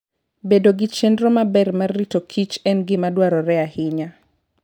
Bedo gi chenro maber mar rito kichen gima dwarore ahinya.